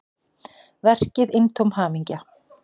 Verkið eintóm hamingja